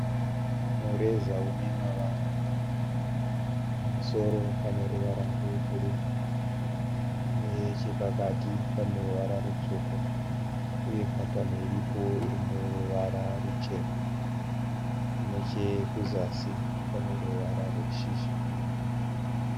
Mureza unemavara mana. Pamusoro peruvara rwebhuruu. Nechepakati paneruvara rutsvuku uye patani iripo iri muruvara ruchena. Nechekuzasi paneruvara rweshizha.